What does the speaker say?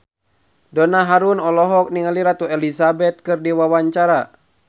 Donna Harun olohok ningali Ratu Elizabeth keur diwawancara